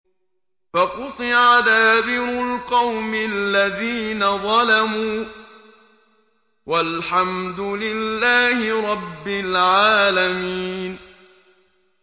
فَقُطِعَ دَابِرُ الْقَوْمِ الَّذِينَ ظَلَمُوا ۚ وَالْحَمْدُ لِلَّهِ رَبِّ الْعَالَمِينَ